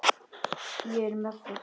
Ég er með það.